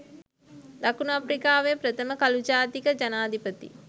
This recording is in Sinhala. දකුණු අප්‍රිකාවේ ප්‍රථම කළු ජාතික ජනාධිපති